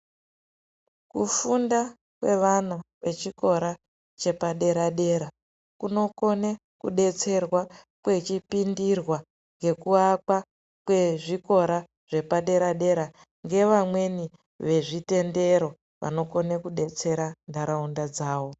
Kufunda kwevana vechikora chepadera-dera, kunokone kudetserwa kwechipindirwa ngekuakwa kwezvikora zvepadera-dera, ngevamweni vezvitendero, vanokona kudetsera ntharaunda dzawo.